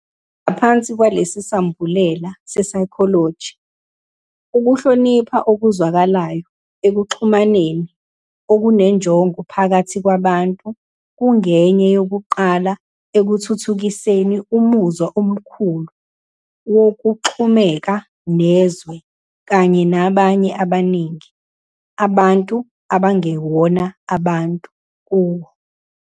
Ngaphansi kwalesi sambulela se-psychology, "Ukuhlonipha okuzwakalayo ekuxhumaneni okunenjongo phakathi kwabantu kungenye yokuqala ekuthuthukiseni umuzwa omkhulu wokuxhumeka nezwe kanye nabanye abaningi, abantu nabangewona abantu, kuwo.